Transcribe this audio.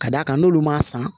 Ka d'a kan n'olu m'a san